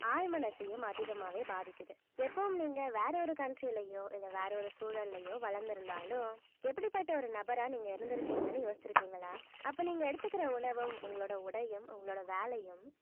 ஆழ்மனசையும் அதிகமாவே பாதிக்குது எப்பவும் நீங்க வேற ஒரு country லயோ இல்ல வேற ஒரு சூழல்லயோ வளர்ந்திருந்தாலும் எப்படிப்பட்ட ஒரு நபரா நீங்க இருந்திருப்பீங்கன்னு யோசிச்சிருக்கீங்களா அப்ப நீங்க எடுத்துக்கிற உணவும் உங்களோட உடையும் உங்களோட வேலையும்